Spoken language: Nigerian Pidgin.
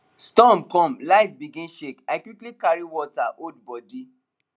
storm come light begin shake i quickly carry water hold body